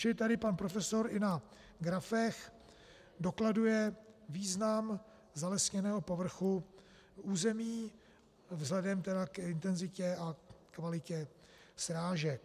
Čili tady pan profesor i na grafech dokladuje význam zalesněného povrchu území vzhledem tedy k intenzitě a kvalitě srážek.